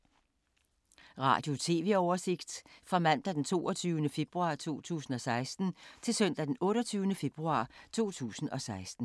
Radio/TV oversigt fra mandag d. 22. februar 2016 til søndag d. 28. februar 2016